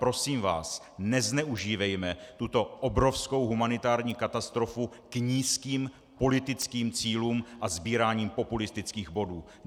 Prosím vás, nezneužívejme tuto obrovskou humanitární katastrofu k nízkým politickým cílům a sbírání populistických bodů.